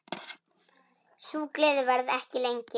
Sú gleði varði ekki lengi.